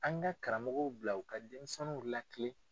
An ka karamɔgɔw bila u ka denmisɛnww latilen.